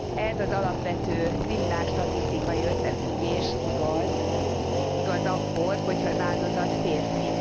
Ez az alapvető kriminálstatisztikai összefüggés igaz akkor, ha az áldozat férfi.